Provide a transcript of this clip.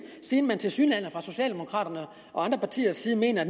siden man tilsyneladende fra socialdemokraternes og andre partiers side mener at